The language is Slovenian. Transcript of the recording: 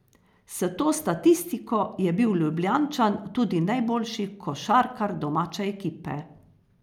S to statistiko je bil Ljubljančan tudi najboljši košarkar domače ekipe.